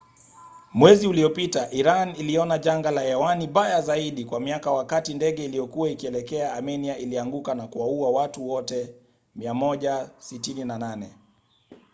mwezi uliopita iran iliona janga la hewani baya zaidi kwa miaka wakati ndege iliyokuwa ikielekea amenia ilianguka na kuwaua watu wote 168